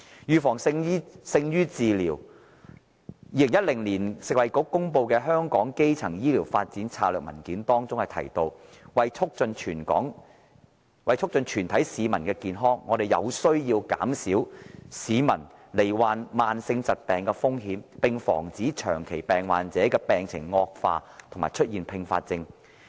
預防勝於治療 ，2012 年食物及衞生局公布的香港的基層醫療發展策略文件中提到，為促進全體市民的健康，我們有需要減少市民罹患慢性疾病的風險，並防止長期病患者病情惡化和出現併發症。